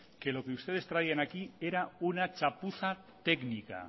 que lo que ustedes traían aquí era una chapuza técnica